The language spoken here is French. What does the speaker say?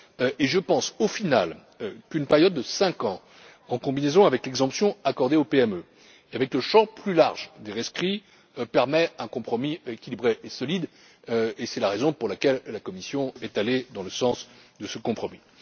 et je pense en fin de compte qu'une période de cinq ans, en combinaison avec l'exemption accordée aux PME, avec le champ plus large des rescrits, permet un compromis équilibré et solide, et c'est la raison pour laquelle la Commission est allée dans le sens de ce compromis.